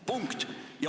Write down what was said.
Punkt.